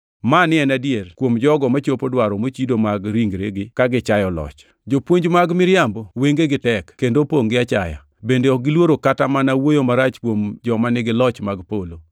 Mani en adiera kuom jogo machopo dwaro mochido mag ringregi ka gichayo loch. Jopuonj mag miriambogi wengegi tek kendo opongʼ gi achaya, bende ok giluoro kata mana wuoyo marach kuom joma nigi joloch mag polo,